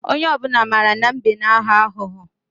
Onye obuna mara na mbe n agho agho.